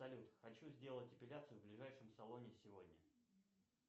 салют хочу сделать эпиляцию в ближайшем салоне сегодня